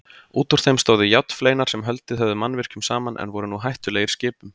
Útúr þeim stóðu járnfleinar sem haldið höfðu mannvirkjunum saman en voru nú hættulegir skipum.